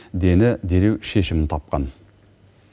дені дереу шешімін тапқан